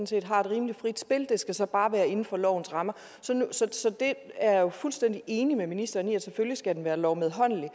set har rimelig frit spil det skal så bare være inden for lovens rammer så jeg er fuldstændig enig med ministeren i at den selvfølgelig skal være lovmedholdelig